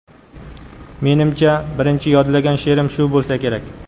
Menimcha, birinchi yodlagan she’rim shu bo‘lsa kerak.